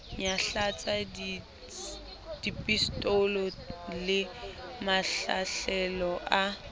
nyahlatsa pistolo le mahlahlelo a